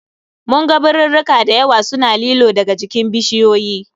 Mun ga birirrika dayawa suna lilo daga jikin bishiyoyi